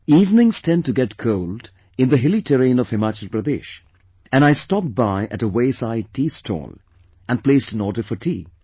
Evenings tend to get cold in the hilly terrain of Himachal Pradesh, and I stopped by at a wayside tea stall and placed an order for tea